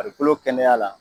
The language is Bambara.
Farikolo kɛnɛya la